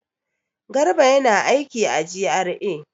Garba yana aiki a GRA.